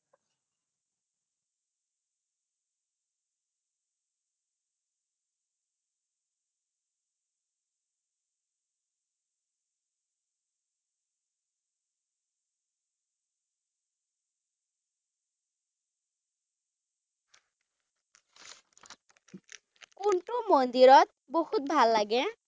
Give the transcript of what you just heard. সেইটো মন্দিৰত বহুত ভাল লাগে।